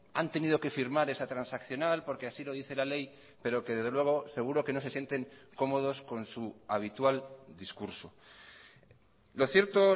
han tenido que firmar esa transaccional porque así lo dice la ley pero que desde luego seguro que no se sienten cómodos con su habitual discurso lo cierto